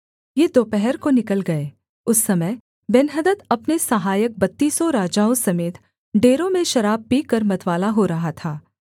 ये दोपहर को निकल गए उस समय बेन्हदद अपने सहायक बत्तीसों राजाओं समेत डेरों में शराब पीकर मतवाला हो रहा था